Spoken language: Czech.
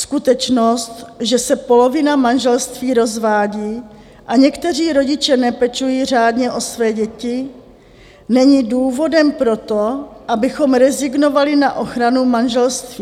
Skutečnost, že se polovina manželství rozvádí a někteří rodiče nepečují řádně o své děti, není důvodem pro to, abychom rezignovali na ochranu manželství.